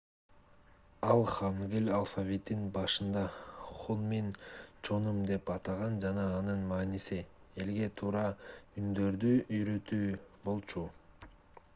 ал хангыль алфавитин башында хунмин чоным деп атаган жана анын мааниси элге туура үндөрдү уйрөтүү болчу